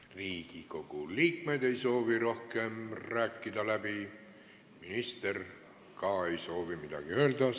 Riigikogu liikmed ei soovi rohkem läbi rääkida, minister ei soovi ka midagi öelda.